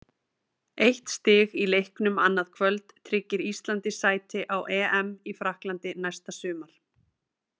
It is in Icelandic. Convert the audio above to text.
Eitt stig í leiknum annað kvöld tryggir Íslandi sæti á EM í Frakklandi næsta sumar.